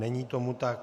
Není tomu tak.